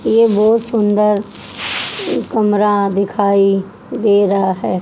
ये बहोत सुंदर कमरा दिखाई दे रहा है।